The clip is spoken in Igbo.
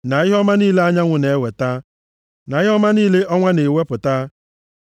na ihe ọma niile anyanwụ na-eweta, na ihe ọma niile ọnwa na-ewepụta,